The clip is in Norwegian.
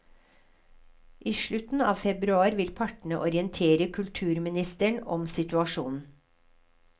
I slutten av februar vil partene orientere kulturministeren om situasjonen.